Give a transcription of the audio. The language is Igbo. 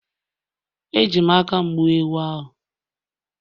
Eji m aka m gbuo ewu ahụ